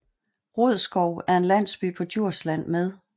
Rodskov er en landsby på Djursland med